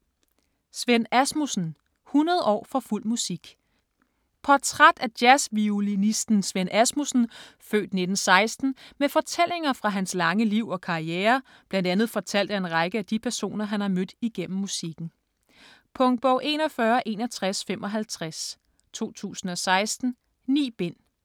Svend Asmussen: 100 år for fuld musik Portræt af jazzviolinisten Svend Asmussen (f. 1916) med fortællinger fra hans lange liv og karriere bl.a. fortalt af en række af de personer han har mødt igennem musikken. Punktbog 416155 2016. 9 bind.